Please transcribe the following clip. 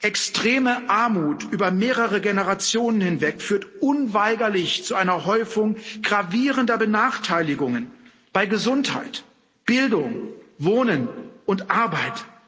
Extreme Armut über mehrere Generationen hinweg führt unweigerlich zu einer Häufung gravierender Benachteiligungen bei Gesundheit, Bildung, Wohnen und Arbeit.